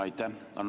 Aitäh!